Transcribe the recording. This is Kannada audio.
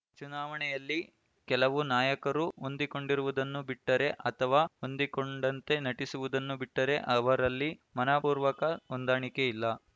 ಚುನಾವಣೆಯಲ್ಲಿ ಕೆಲವು ನಾಯಕರು ಹೊಂದಿಕೊಂಡಿರುವುದನ್ನು ಬಿಟ್ಟರೆ ಅಥವಾ ಹೊಂದಿಕೊಂಡಂತೆ ನಟಿಸುವುದನ್ನು ಬಿಟ್ಟರೆ ಅವರಲ್ಲಿ ಮನಃಪೂರ್ವಕ ಹೊಂದಾಣಿಕೆ ಇಲ್ಲ